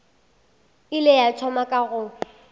ile a thoma ka go